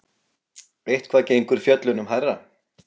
Eitthvað gengur fjöllunum hærra